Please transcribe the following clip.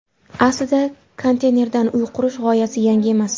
Aslida konteynerdan uy qurish g‘oyasi yangi emas.